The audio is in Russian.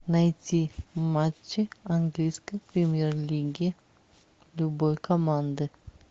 найти матчи английской премьер лиги любой команды